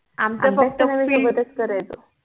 आम्ही पण सगळ सोबतच करायचो